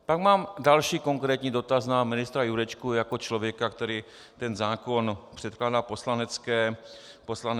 Pak mám další konkrétní dotaz na ministra Jurečku jako člověka, který ten zákon předkládá Poslanecké sněmovně.